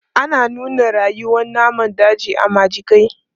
Ana nuna rayuwan namun daji a majigai.